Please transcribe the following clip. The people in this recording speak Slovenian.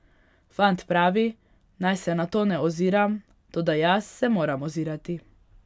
Fant pravi, naj se na to ne oziram, toda jaz se moram ozirati.